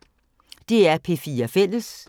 DR P4 Fælles